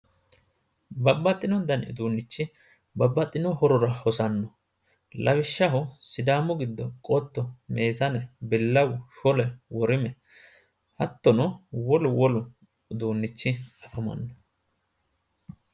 Babbaxxino dani uduunnichi, babbaxino horora hosanno lawishshaho sidaamu giddo qotto meesane billawu shole, worime, hattonno wolu wolu uduunnichi afamanno